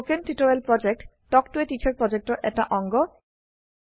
spoken tutorial প্ৰকল্প talk ত a teacher প্ৰকল্পৰ এটা অংগ